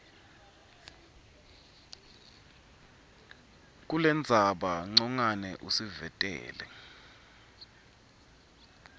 kulendzaba ncongwane usivetela